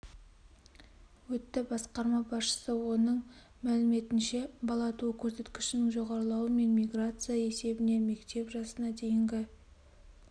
өтті басқарма басшысы оның мәліметінше бала туу көрсеткішінің жоғарылауы мен миграция есебінен мектеп жасына дейінгі